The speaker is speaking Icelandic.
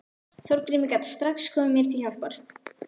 Þorgrímur gat strax komið mér til hjálpar.